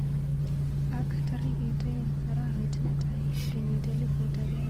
Ak tarikit aeng arawet netai kenyit elifut akenge tisani ak sogol ak konom ak sogol, ribik chebo kallet kojutich